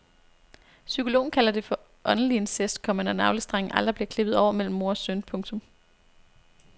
Psykologen kalder det for åndelig incest, komma når navlestrengen aldrig bliver klippet over mellem mor og søn. punktum